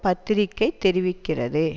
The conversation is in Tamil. பத்திரிகை தெரிவிக்கிறது